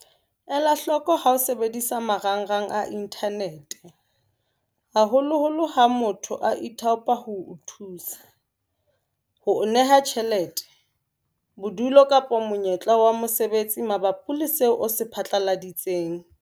Elahloko ha o sebedisa marangrang a inthanete, haholoholo ha motho a ithaopa ho o thusa, ho o neha tjhelete, bodulo kapa monyetla wa mosebetsi mabapi le seo o se phatlaladitseng.